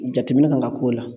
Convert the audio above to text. Jateminɛ kan ka k'o la